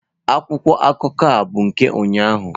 Akwụkwọ akụkọ a bụ nke ụnyahụ.